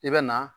I bɛ na